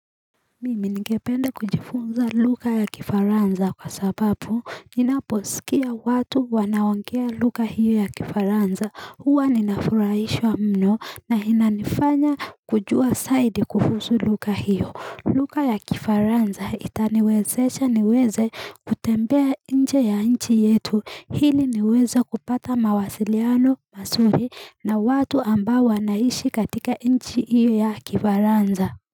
Mimi ningependa kujifunza luga ya kifaransa kwa sababu ninaposikia watu wanaongea luga hiyo ya kifaranza huwa ninafuraishwa mno na inanifanya kujua saidi kuhusu luga hiyo luga ya kifaranza itaniwezecha niweze kutembea nje ya nchi yetu hili niweze kupata mawasiliano masuri na watu ambao wanaishi katika nchi hiyo ya kifaranza.